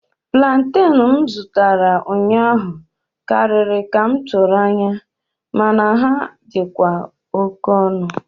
Plantain m zụtara ụnyaahụ karịrị ka m tụrụ anya, mana ha dịkwa oke ọnụ.